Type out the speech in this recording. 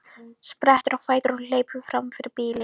Sprettur á fætur og hleypur fram fyrir bílinn.